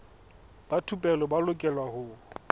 ba thupelo ba lokela ho